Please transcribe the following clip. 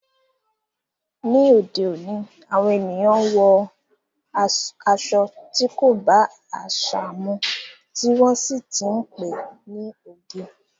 Ni òde òní, àwọn ènìyàn wọ aṣọ tí kò bá àṣà mu, tí wọ́n sì ti ń pe ní oge.